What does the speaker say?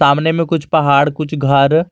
सामने में कुछ पहाड़ कुछ घर--